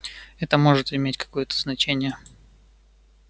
это может иметь какое-то значение